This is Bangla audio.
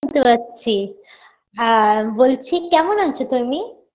সুনতে পাচ্ছি আর বলছি কেমন আছো তুমি